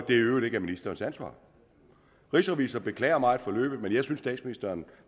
i øvrigt ikke ministerens ansvar rigsrevisor beklager meget forløbet men jeg synes statsministeren